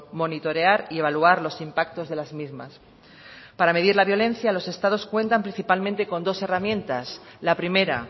monitorear y evaluar los impactos de las mismas para medir la violencia los estados cuentan principalmente con dos herramientas la primera